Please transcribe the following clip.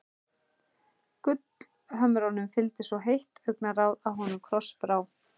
Gullhömrunum fylgdi svo heitt augnaráð að honum krossbrá.